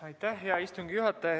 Aitäh, hea istungi juhataja!